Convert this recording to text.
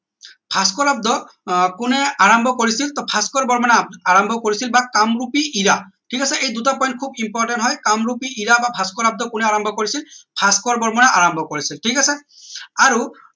ভাস্কৰ আব্দ আহ কোনে আৰাম্ভ কৰিছিল টৌ ভাস্কৰ বৰ্মনে আৰাম্ভ কৰিছিল বা কামৰূপী ইৰা ঠিক আছে এই দুইটা point খুব important হয় কামৰূপী ইৰা বা ভাস্কৰ আব্দ কোনে আৰাম্ভ কৰিছিল ভাস্কৰ বৰ্মনে আৰাম্ভ কৰিছিল ঠিক আছে আৰু